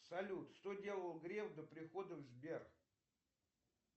салют что делал греф до прихода в сбер